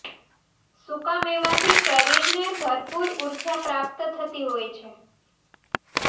સૂકા મેવાથી શરીરને ભરપૂર ઊર્જા પ્રાપ્ત થતી હોય છે